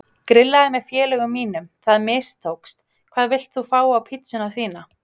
Grillaði með félögum mínum, það mistókst Hvað vilt þú fá á pizzuna þína?